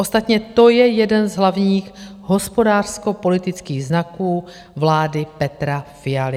Ostatně to je jeden z hlavních hospodářskopolitických znaků vlády Petra Fialy.